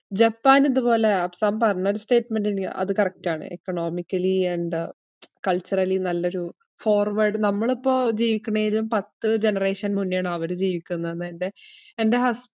Japan ഇതുപോലെ അഫ്സാമ് പറഞ്ഞൊരു statement ഇല്ല്യെ അത് correct ആണ് economically and culturally നല്ലൊരു forward നമ്മളിപ്പോ ജീവിക്കണേലും പത്തു generation മുന്നേയാണ് അവര് ജീവിക്ക്ന്നന്നെന്റെ എൻറെ ഹസ്~.